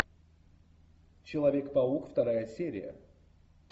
человек паук вторая серия